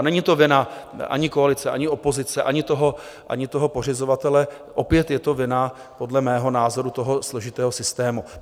A není to vina ani koalice, ani opozice, ani toho pořizovatele, opět je to vina podle mého názoru toho složitého systému.